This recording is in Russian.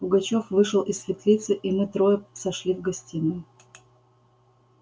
пугачёв вышел из светлицы и мы трое сошли в гостиную